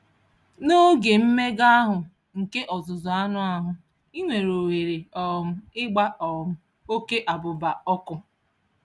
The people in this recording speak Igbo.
N'oge mmega ahụ nke ọzụzụ anụ ahụ, ị nwere ohere um ịgba um oke abụba ọkụ.